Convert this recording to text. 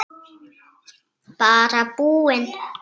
Bara búinn.